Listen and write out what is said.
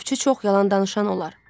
Ovçu çox yalan danışan olar.